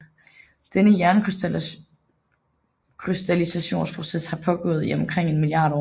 Denne jernkrystallisationsproces har pågået i omkring en milliard år